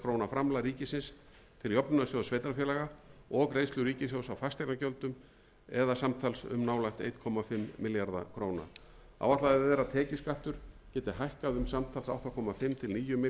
framlag ríkisins til jöfnunarsjóðs sveitarfélaga og greiðslur ríkissjóðs á fasteignagjöldum samtals um nálægt einum komma fimm milljörðum króna áætlað er að tekjuskattur geti hækkað um samtals átta og hálft til níu milljarða króna vegna þessara breytinga í